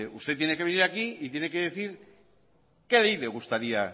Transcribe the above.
usted tiene que venir aquí y tiene que decir qué ley le gustaría